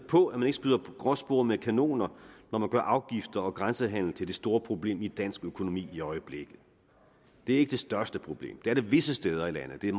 på at man ikke skyder gråspurve med kanoner når man gør afgifter og grænsehandel til det store problem i dansk økonomi i øjeblikket det er ikke det største problem det er det visse steder i landet det er